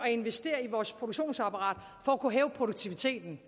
at investere i vores produktionsapparat for at kunne hæve produktiviteten